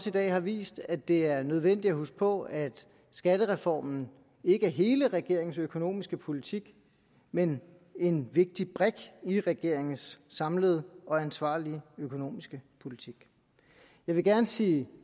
i dag har vist at det er nødvendigt at huske på at skattereformen ikke er hele regeringens økonomiske politik men en vigtig brik i regeringens samlede og ansvarlige økonomiske politik jeg vil gerne sige